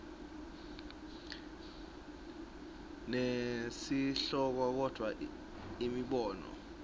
nesihloko kodvwa imibono